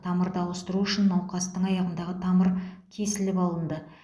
тамырды ауыстыру үшін науқастың аяғындағы тамыр кесіліп алынды